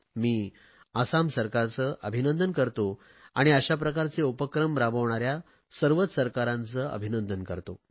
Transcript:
मी आसाम सरकारचे अभिंनदन करतो आणि अशाप्रकारचे उपक्रम राबविणाऱ्या सर्वच सरकाराचे अभिनंदन करतो